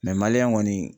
maliyɛn kɔni